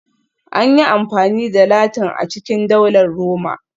An yi amfani da Latin a cikin Daular Roma